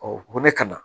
ko ne kana